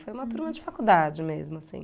Foi uma turma de faculdade mesmo, assim.